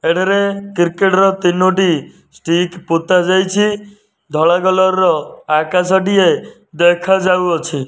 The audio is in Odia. ଏଠାରେ କ୍ରିକେଟ ର ତିନୋଟି ଷ୍ଟିକ୍ ପତାଯାଇଚି ଧଳା କଲର୍ ଆକାଶ ଟିଏ ଦେଖାଯାଉ ଅଛି।